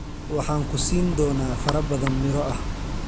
Waxaan ku siin doonaa farabadan miro ah.